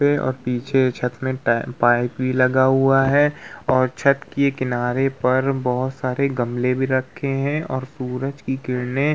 पेड़ और पीछे छत में पाइप भी लगा हुवा है और छत की किनारे पर बहोत सारे गमले भी रखे हैं और सूरज की किरणें --